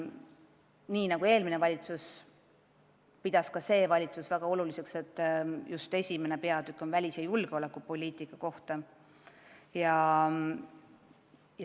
Nii nagu eelmine valitsus, pidas ka see valitsus väga oluliseks, et esimene koalitsioonileppe peatükk on välis- ja julgeolekupoliitikast.